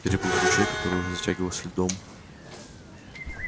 переплыв ручей который уже затягивался льдом